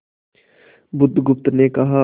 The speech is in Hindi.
बुधगुप्त ने कहा